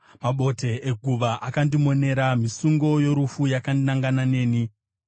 Mabote eguva akandimonera; misungo yorufu yakanangana neni.